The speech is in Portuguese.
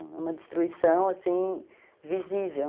É uma destruição assim, visível.